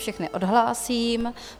Všechny odhlásím.